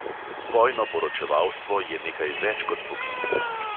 Vojno poročevalstvo je nekaj več kot poklic.